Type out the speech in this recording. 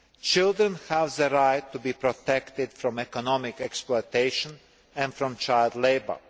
children have the right to be protected from economic exploitation and from child labour.